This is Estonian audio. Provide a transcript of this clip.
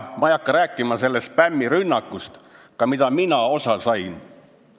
Ma ei hakka rääkima spämmirünnakust, millest ka mina osa sain.